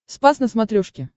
спас на смотрешке